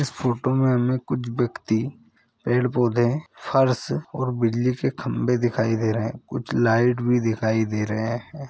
इस फोटो मे हमे कुछ व्यक्ति पेड़-पौधे फर्स और बिजली के खंबे दिखाई दे रहे है कुछ लाइट भी दिखाई दे रहे है।